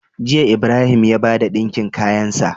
Jiya Ibrahim ya bada dinkin kayan sa